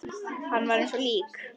Hún var eins og lík.